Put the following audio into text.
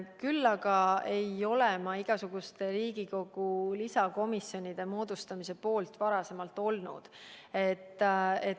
Küll aga ei ole ma ka varem olnud igasuguste Riigikogu lisakomisjonide moodustamise poolt.